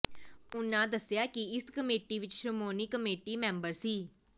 ਉਨ੍ਹਾਂ ਦੱਸਿਆ ਕਿ ਇਸ ਕਮੇਟੀ ਵਿਚ ਸ਼੍ਰੋਮਣੀ ਕਮੇਟੀ ਮੈਂਬਰ ਸ